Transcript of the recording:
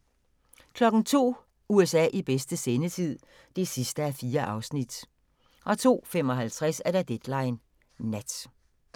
02:00: USA i bedste sendetid (4:4) 02:55: Deadline Nat